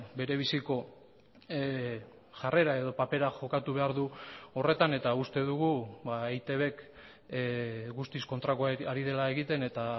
bere biziko jarrera edo papera jokatu behar du horretan eta uste dugu eitbk guztiz kontrakoa ari dela egiten eta